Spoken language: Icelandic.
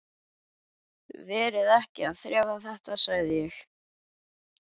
Verið ekki að þrefa þetta, sagði ég.